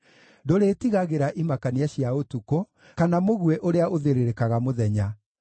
Ndũrĩĩtigagĩra imakania cia ũtukũ, kana mũguĩ ũrĩa ũthĩrĩrĩkaga mũthenya,